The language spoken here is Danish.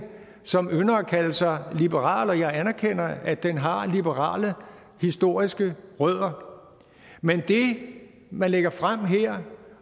som ynder at kalde sig liberal jeg anerkender at den har liberale historiske rødder men det man lægger frem her